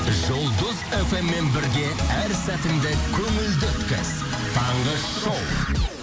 жұлдыз фм мен бірге әр сәтіңді көңілді өткіз таңғы шоу